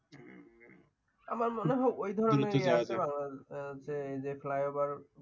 আমার মনে হয় ওই ধরণের যে ফ্লাইওভার